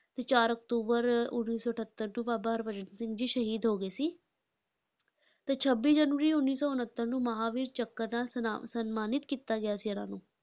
ਤੇ ਚਾਰ ਅਕਤੂਬਰ ਉੱਨੀ ਸੌ ਅਠੱਤਰ ਨੂੰ ਬਾਬਾ ਹਰਭਜਨ ਸਿੰਘ ਸ਼ਹੀਦ ਹੋ ਗਏ ਸੀ ਤੇ ਛੱਬੀ ਜਨਵਰੀ ਉੱਨੀ ਸੌ ਉਣੱਤਰ ਨੂੰ ਮਹਾਂਵੀਰ ਚੱਕਰ ਨਾਲ ਸਨਾ~ ਸਨਮਾਨਿਤ ਕੀਤਾ ਗਿਆ ਸੀ ਇਹਨਾਂ ਨੂੰ,